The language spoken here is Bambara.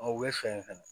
u bɛ fɛ fɛnɛ